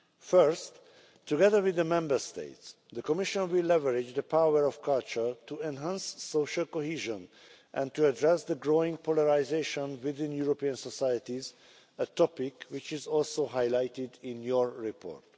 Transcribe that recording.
First, together with the Member States, the Commission will leverage the power of culture to enhance social cohesion and to address the growing polarisation in European societies, a topic which is also highlighted in your report.